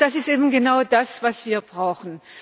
Das ist eben genau das, was wir brauchen.